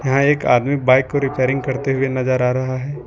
यहां एक आदमी बाइक को रिपेयरिंग करते हुए नजर आ रहा है।